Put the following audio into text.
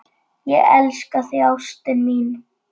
Ég elska þig, ástin mín.